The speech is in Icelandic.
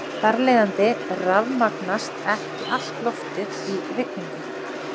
Einir er fleirfaldstala um eina einingu, tvennir um tvær einingar og svo framvegis.